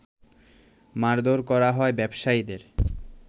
মারধোর করা হয় ব্যবসায়ীদের